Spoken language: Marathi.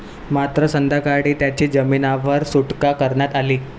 मात्र, संध्याकाळी त्याची जामिनावर सुटका करण्यात आली.